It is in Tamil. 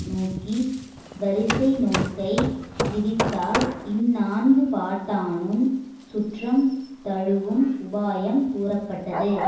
நோக்கி வரிசை நோக்கை விதித்தார்இந்நான்கு பாட்டானும் சுற்றம் தழுவும் உபாயம் கூறப்பட்டது